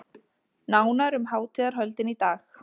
Nánar um hátíðarhöldin í dag